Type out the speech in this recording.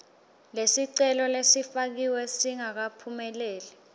lesicelo lesifakiwe singakaphumeleli